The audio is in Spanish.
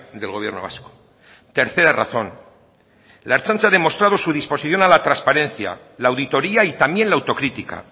del gobierno vasco tercera razón la ertzaintza ha demostrado su disposición a la transparencia la auditoria y también la autocritica